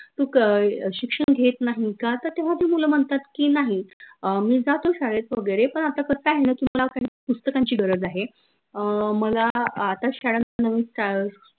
तू अह शिक्षन घेत नाही का? त तेव्हा ती मुलं म्हनतात की, नाही अं मी जातो शाळेत वगैरे पन आता कस आहे न की मला काही पुस्तकांची गरज आहे अं मला आता शाळेतमध्ये नवीन